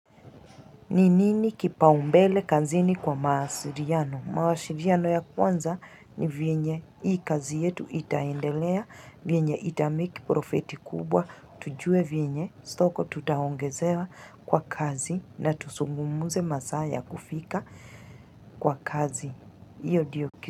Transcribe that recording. Ni nini kipaumbele kazini kwa maasiliano? Maasiliano ya kwanza ni venye. Hii kazi yetu itaendelea. Venye itamake profiti kubwa. Tujue venye. Stoko tutaongezewa kwa kazi. Na tuzungumuze masaa ya kufika kwa kazi. Hiyo ndiyo ki.